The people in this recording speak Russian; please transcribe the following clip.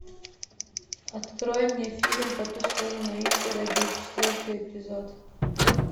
открой мне фильм по ту сторону изгороди четвертый эпизод